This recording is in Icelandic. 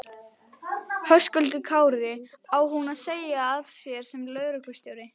Höskuldur Kári: Á hún að segja af sér sem lögreglustjóri?